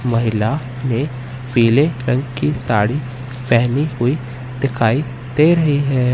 महिला ने पीले रंग की साड़ी पेहनी हुई दिखाई दे रही है।